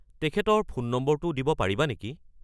তেখেতৰ ফোন নম্বৰটো দিব পাৰিবা নেকি?